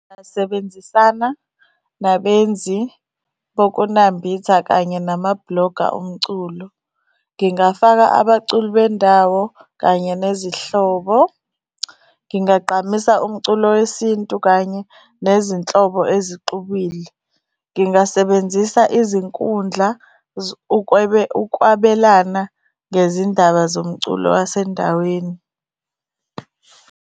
Ngingasebenzisana nabenzi bokunambitha kanye nama-blogger omculo. Ngingafaka abaculi bendawo kanye nezihlobo. Ngingagqamisa umculo wesintu, kanye nezinhlobo ezixubile. Ngingasebenzisa izinkundla ukwabelana ngezindaba zomculo wasendaweni.